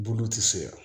Bulu ti se ka